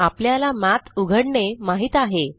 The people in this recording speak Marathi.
आपल्याला मठ उघडणे माहीत आहे